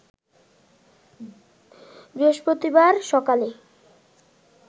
বৃহস্পতিবার সকালে